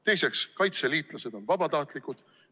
Teiseks, kaitseliitlased on vabatahtlikud.